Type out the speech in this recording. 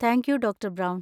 Thank you doctor brown.